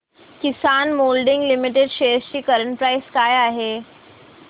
किसान moulding limited shares ची current price काय आहे